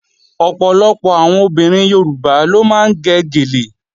Ọ̀pọ̀lọpọ̀ àwọn obìnrin Yorùbá ló máa ń gẹ gèlè